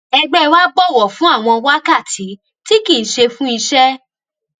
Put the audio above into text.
ẹgbẹ wa bọwọ fún àwọn wákàtí tí kìí ṣe fún iṣẹ